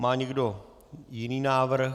Má někdo jiný návrh?